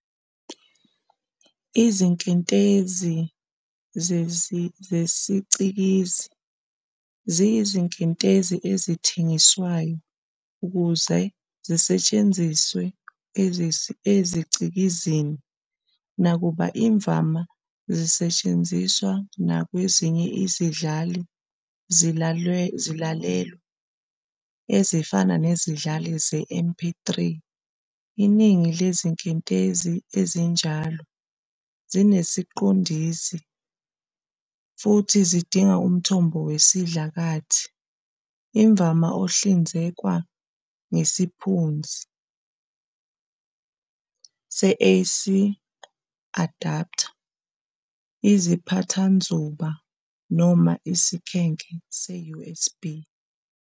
Izinkentezi zesicikizi, ziyizinkentezi ezithengiswayo ukuze zisetshenziswe ezicikizini, nakuba imvama zingasetshenziswa nakwezinye izidlali zilalelwa, ezifana nezidlali ze-MP3. Iningi lezinkentezi ezinjalo zineziqongisi futhi zidinga umthombo wesidlakathi, imvama ohlinzekwa ngesiphenduzi se-"AC adapter", iziphathanzuba, noma isikhenke se-USB.